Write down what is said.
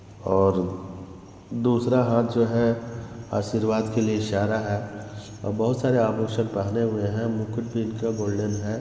और दूसरा हाथ जो हैं आशीर्वाद के लिए इशारा हैं और बहोत सारे आभूषण पहने हुए हैं मुकुट भी इनका गोल्डन हैं।